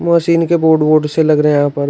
Machine के board वोर्ड से लग रहे हैं यहां पर।